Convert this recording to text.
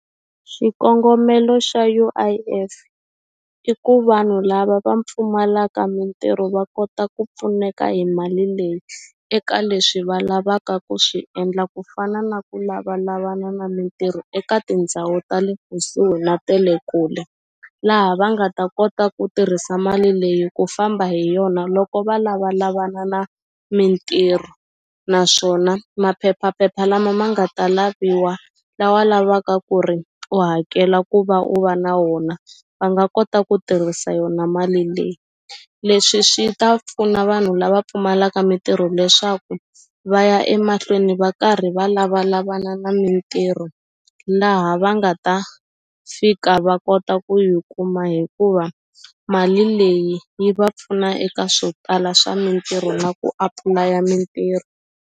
Xikongomelo xa U_I_F i ku vanhu lava va pfumalaka mintirho va kota ku pfuneka hi mali leyi eka leswi va lavaka ku swi endla ku fana na ku lavalavana na mintirho eka tindhawu ta le kusuhi na tele kule laha va nga ta kota ku tirhisa mali leyi ku famba hi yona loko va lavalavana na mintirho naswona maphephaphepha lama ma nga ta laviwa lawa lavaka ku ri u hakela ku va u va na wona va nga kota ku tirhisa yona mali leyi leswi swi ta pfuna vanhu lava pfumalaka mitirho leswaku va ya emahlweni va karhi va lavalavana na mintirho laha va nga ta fika va kota ku yi kuma hikuva mali leyi yi va pfuna eka swo tala swa mintirho na ku apulaya mitirho.